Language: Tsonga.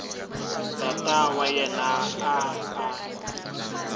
tata wa yena a a